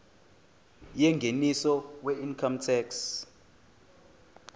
yengeniso weincome tax